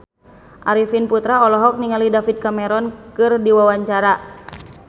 Arifin Putra olohok ningali David Cameron keur diwawancara